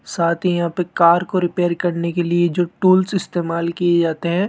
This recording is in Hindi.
साथ ही यहां पे कार को रिपेयर करने के लिए जो टूल्स इस्तेमाल किए जाते हैं।